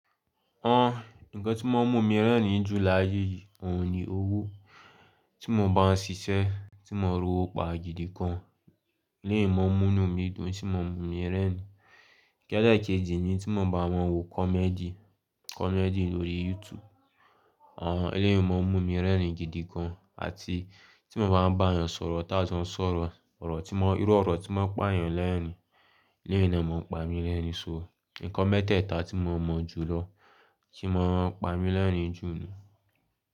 Ọ̀n, ǹnkan tí mo n mu mí rẹ́rìn-ín jù láyé yìí òhun ni owó. Tí mo bá ń ṣiṣẹ́, tí mo n rọ owó pa gidi gan, eléyii mọ̀ n mú inu mi dùn, n tí mọ̀ mu mí rẹ́rìn-ín. Kí elekejì ni tí mo bá wọ́n wo comedy, comedy lórí YouTube. Eleyii mọ̀ n mu ní rẹ́rìn-ín gidi gan. Àti tí mo bá ń bá èeyàn sọ̀rọ̀, tá jo n sọ̀rọ̀, ọ̀rọ̀ tí mọ́, irú ọ̀rọ̀ tí mọ́ n pa èeyan lẹ́rìn-ín, eleyii na mọ̀ ń pa mí lẹ́rìn-ín so. Ǹnkan mẹ́tẹ̀ẹ̀ta tí mo mọ̀ jùlọ tí mọ̀ ń pa mí lẹ́rìn-ín jù ni.